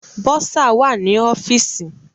Bọ́sà wà ní ọ́fìsì.